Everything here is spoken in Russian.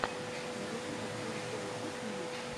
на ютубе стрим шоубиз ньюс